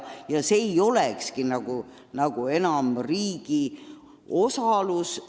Siis see ei olegi nagu enam riigi osalusega asutus.